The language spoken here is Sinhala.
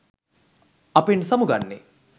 අපෙන් සමුගන්නෙ?